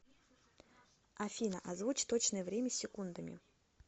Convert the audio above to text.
афина озвучь точное время с секундами